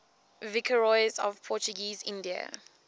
viceroys of portuguese india